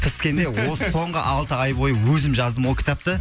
піскенде осы соңғы алты ай бойы өзім жаздым ол кітапты